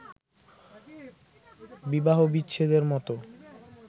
বিবাহবিচ্ছেদের মত